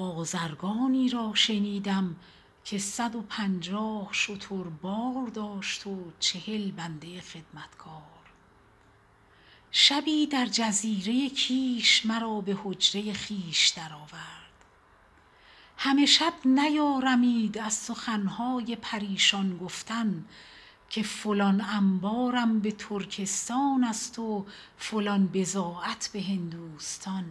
بازرگانی را شنیدم که صد و پنجاه شتر بار داشت و چهل بنده خدمتکار شبی در جزیره کیش مرا به حجره خویش در آورد همه شب نیارمید از سخن های پریشان گفتن که فلان انبازم به ترکستان و فلان بضاعت به هندوستان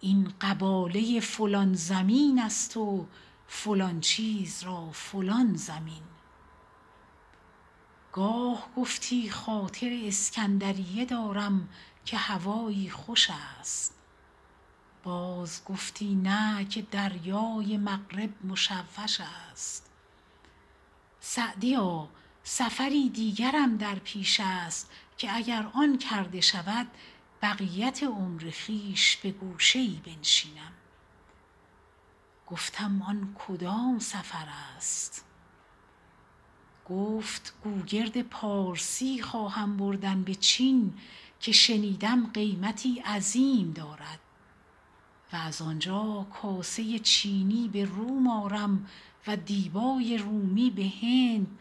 است و این قباله فلان زمین است و فلان چیز را فلان ضمین گاه گفتی خاطر اسکندریه دارم که هوایی خوش است باز گفتی نه که دریای مغرب مشوش است سعدیا سفری دیگرم در پیش است اگر آن کرده شود بقیت عمر خویش به گوشه بنشینم گفتم آن کدام سفر است گفت گوگرد پارسی خواهم بردن به چین که شنیدم قیمتی عظیم دارد و از آنجا کاسه چینی به روم آرم و دیبای رومی به هند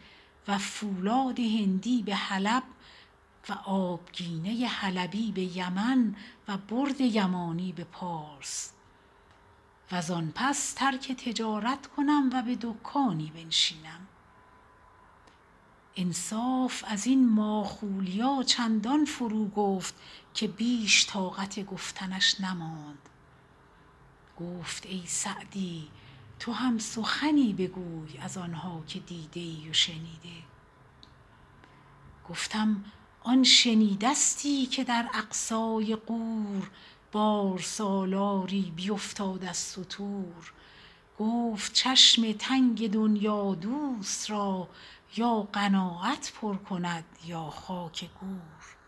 و فولاد هندی به حلب و آبگینه حلبی به یمن و برد یمانی به پارس و زآن پس ترک تجارت کنم و به دکانی بنشینم انصاف از این ماخولیا چندان فرو گفت که بیش طاقت گفتنش نماند گفت ای سعدی تو هم سخنی بگوی از آن ها که دیده ای و شنیده گفتم آن شنیدستی که در اقصای غور بارسالاری بیفتاد از ستور گفت چشم تنگ دنیادوست را یا قناعت پر کند یا خاک گور